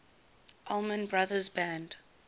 allman brothers band